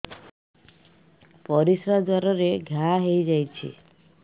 ପରିଶ୍ରା ଦ୍ୱାର ରେ ଘା ହେଇଯାଇଛି